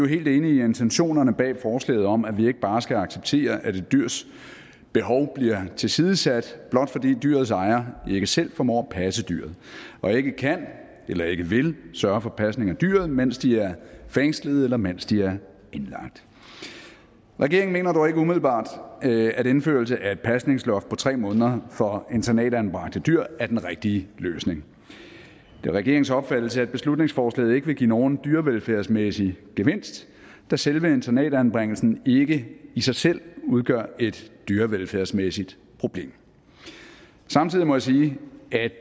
helt enige i intentionerne bag forslaget om at vi ikke bare skal acceptere at et dyrs behov bliver tilsidesat blot fordi dyrets ejere ikke selv formår at passe dyret og ikke kan eller ikke vil sørge for pasning af dyret mens de er fængslede eller mens de er indlagt regeringen mener dog ikke umiddelbart at indførelse af et pasningsloft på tre måneder for internatanbragte dyr er den rigtige løsning det er regeringens opfattelse at beslutningsforslaget ikke vil give nogen dyrevelfærdsmæssig gevinst da selve internatanbringelsen ikke i sig selv udgør et dyrevelfærdsmæssigt problem samtidig må jeg sige at